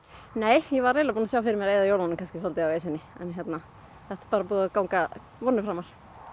nei ég var eiginlega búin að sjá fyrir mér að eyða jólunum svolítið á Esjunni en þetta er búið að ganga vonum framar